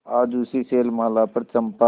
आज उसी शैलमाला पर चंपा